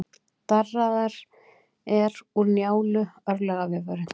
Darraðar er úr Njálu, örlagavefurinn.